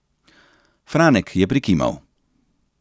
Franek je prikimal.